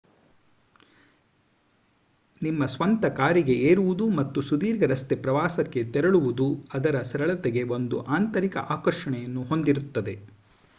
ನಿಮ್ಮ ಸ್ವಂತ ಕಾರಿಗೆ ಏರುವುದು ಮತ್ತು ಸುದೀರ್ಘ ರಸ್ತೆ ಪ್ರವಾಸಕ್ಕೆ ತೆರಳುವುದು ಅದರ ಸರಳತೆಗೆ ಒಂದು ಆಂತರಿಕ ಆಕರ್ಷಣೆಯನ್ನು ಹೊಂದಿರುತ್ತದೆ